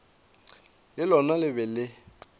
le lona le be le